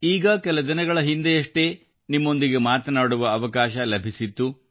ಈಗ ಕೆಲ ದಿನಗಳ ಹಿಂದೆಯಷ್ಟೇ ನಿಮ್ಮೊಂದಿಗೆ ಮಾತನಾಡುವ ಅವಕಾಶ ಲಭಿಸಿತ್ತು